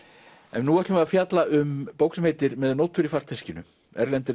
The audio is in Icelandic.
en nú ætlum við að fjalla um bók sem heitir með nótur í farteskinu erlendir